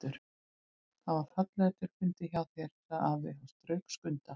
Það var fallega til fundið hjá þér, sagði afi og strauk Skunda.